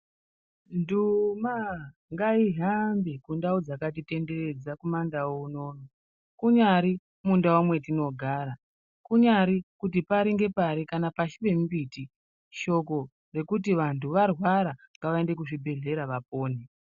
Nduma ngaihambe kundau dzakatitenderedza kumandau unono .Kunyari kundau kwatinogara ,kunyari kuti pari ngepari kana pashi pemimbuti shoko rekuti kana vantu varwara ngavaende kuzvibhedhleya vapone.